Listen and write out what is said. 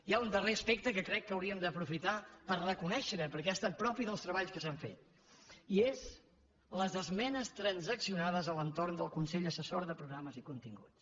hi ha un darrer aspecte que crec que hauríem d’aprofitar per reconèixer perquè ha estat propi dels treballs que s’han fet i són les esmenes transaccionades a l’entorn del consell assessor de programes i continguts